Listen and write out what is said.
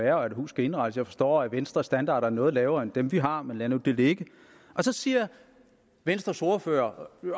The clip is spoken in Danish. være og et hus skal indrettes jeg forstår at venstres standarder er noget lavere end dem vi har men lad nu det ligge så siger venstres ordfører